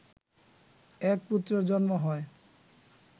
এক পুত্রের জন্ম হয়